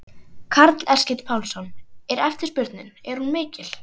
Karl Eskil Pálsson: Er eftirspurnin, er hún mikil?